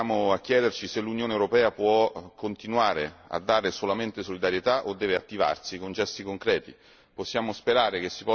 Evidentemente siamo a chiederci se l'Unione europea possa continuare a dare solamente solidarietà o se debba attivarsi con gesti concreti.